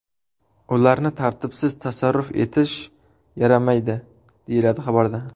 Ularni tartibsiz tasarruf etish yaramaydi” deyiladi xabarda.